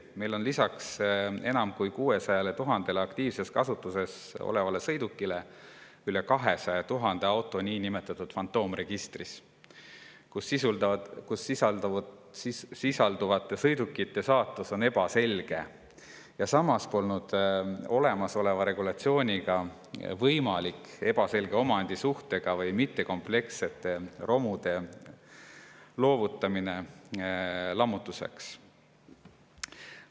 Meil on lisaks enam kui 600 000-le aktiivses kasutuses olevale sõidukile üle 200 000 auto niinimetatud fantoomregistris, milles sisalduvate sõidukite saatus on ebaselge, ja samas polnud olemasoleva regulatsiooniga võimalik ebaselge omandisuhtega või mittekomplektsete romude loovutamine lammutuseks.